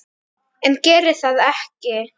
En geri það ekki.